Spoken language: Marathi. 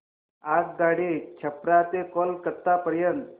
आगगाडी छपरा ते कोलकता पर्यंत